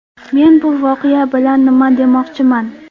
Men bu voqea bilan nima demoqchiman?